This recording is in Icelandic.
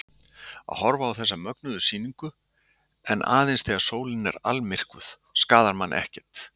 Að horfa á þessa mögnuðu sýningu, en aðeins þegar sólin er almyrkvuð, skaðar mann ekkert.